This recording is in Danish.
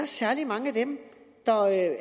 særlig mange